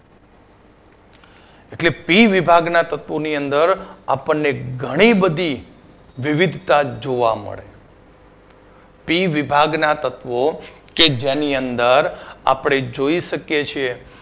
એટલે P વિભાગના તત્વોની અંદર આપણને ઘણી બધી વિવિધતા જોવા મળે P વિભાગના તત્વો કે જેની અંદર આપણે જોઈ શકીએ છીએ